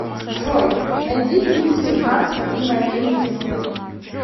джой найди фильм семнадцать мгновений весны